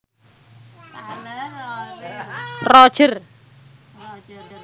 Rogers